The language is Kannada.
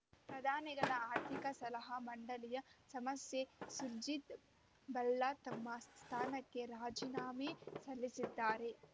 ಪ್ರಧಾನಿಗಳ ಆರ್ಥಿಕ ಸಲಹಾ ಮಂಡಳಿಯ ಸದಸ್ಯ ಸುರ್ಜಿತ್‌ ಭಲ್ಲಾ ತಮ್ಮ ಸ್ಥಾನಕ್ಕೆ ರಾಜೀನಾಮೆ ಸಲ್ಲಿಸಿದ್ದಾರೆ